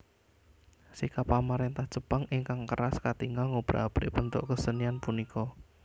Sikap pamarentah Jepang ingkang keras katingal ngobrak abrik bentuk kesenian punika